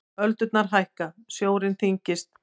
Öldurnar hækka, sjórinn þyngist.